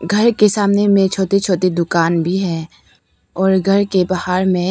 घर के सामने में छोटी छोटी दुकान भी है और घर के बाहर में--